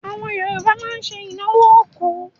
Àwọn Yorùbá máa ń ṣe ìnáwó òkú.